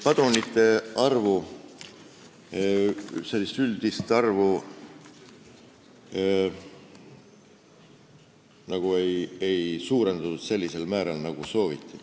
Padrunite üldist arvu ei suurendatud sellisel määral, nagu sooviti.